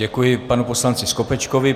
Děkuji panu poslanci Skopečkovi.